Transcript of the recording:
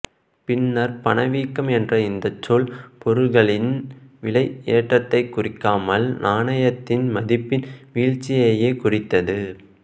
பின்னர் பணவீக்கம் என்ற இந்தச் சொல் பொருள்களின் விலையேற்றத்தைக் குறிக்காமல் நாணயத்தின் மதிப்பின் வீழ்ச்சியையே குறித்தது